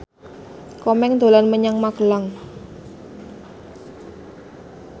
Komeng dolan menyang Magelang